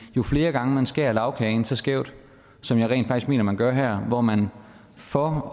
jo flere gange man skærer lagkagen så skævt som jeg rent faktisk mener man gør her hvor man for